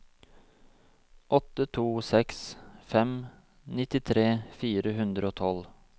åtte to seks fem nittitre fire hundre og tolv